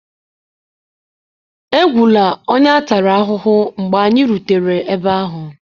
Egwula onye a tara ahụhụ mgbe anyị rutere ebe ahụ!